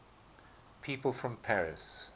people from paris